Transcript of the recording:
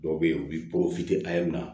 Dɔw bɛ yen u bɛ na